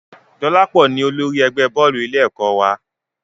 Dolapo ni olórí ẹgbẹ́ bọ́ọ̀lù ilé ẹ̀kọ́ wa